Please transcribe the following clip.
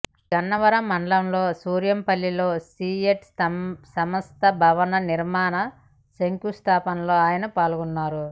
గన్నవరం మండలం సూరంపల్లిలో సిఎట్ సంస్త భవన నిర్మాణ శంకుస్థాపనలో ఆయన పాల్గొన్నారు